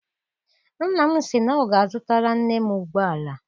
Nna m sị na ọ ga- azutara nne m ụgbọala.